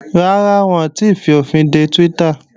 Rárá, wọn ò tíì fòfinde Twitter